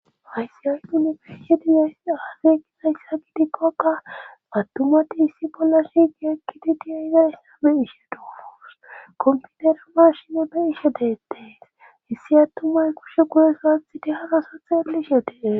Ayssi yanpini fiishe dizay afeekizayssa gidikkoka attumati issi bolla shigi ekkidi di'e izayssa be ishe dooros komputerama shime be ishe deettee hissi attumay kushe kuhe saathiti hagaso xeellish yetee.